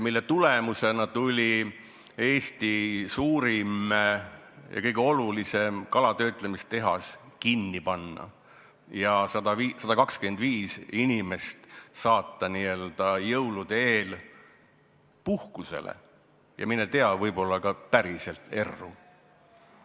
Selle tagajärjel tuli Eesti suurim ja kõige olulisem kalatöötlemise tehas kinni panna, 125 inimest saata jõulude eel "puhkusele" ja, mine tea, võib-olla ka päriselt erru.